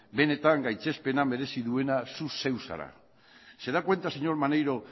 benetan gaitzespena merezi duena zu zeu zara se da cuenta señor maneiro